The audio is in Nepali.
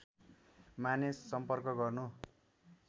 माने सम्पर्क गर्नु